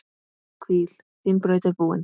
Hvíl, þín braut er búin.